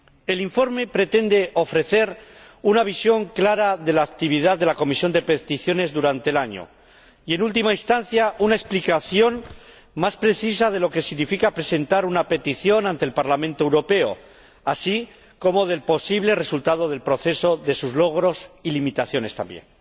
El informe pretende ofrecer una visión clara de la actividad de la Comisión de Peticiones durante el año y, en última instancia, una explicación más precisa de lo que significa presentar una petición ante el Parlamento Europeo, así como del posible resultado del proceso, de sus logros y limitaciones también.